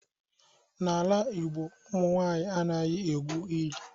N'ala Igbo ụmụ nwaanyi anaghi egwu ili.